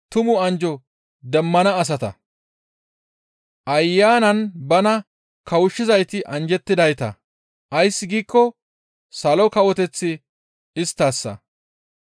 «Ayanan bana kawushshizayti anjjettidayta; ays giikko Salo Kawoteththi isttassa.